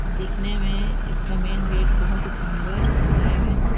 दिखने में इसका मेन गेट बहोत ही सुन्दर है बनाया गया हैं ।